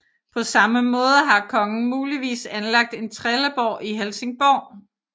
På samme måde har kongen muligvis anlagt en trelleborg i Helsingborg